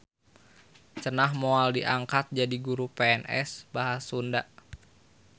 Ceunah moal diangkat jadi guru pns bahas Sunda.